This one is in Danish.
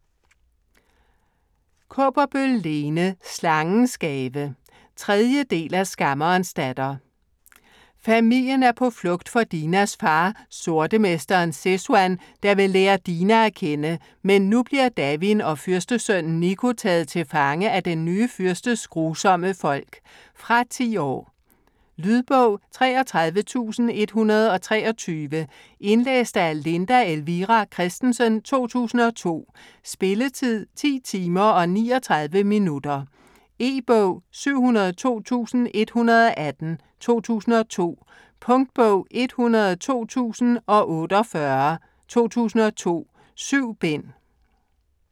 Kaaberbøl, Lene: Slangens gave 3. del af Skammerens datter. Familien er på flugt for Dinas far, Sortemesteren Sezuan, der vil lære Dina at kende, men nu bliver Davin og fyrstesønnen Nico taget til fange af den nye fyrstes grusomme folk. Fra 10 år. Lydbog 33123 Indlæst af Linda Elvira Kristensen, 2002. Spilletid: 10 timer, 39 minutter. E-bog 702118 2002. Punktbog 102048 2002. 7 bind.